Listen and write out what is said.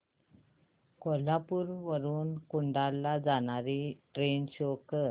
कोल्हापूर वरून कुडाळ ला जाणारी ट्रेन शो कर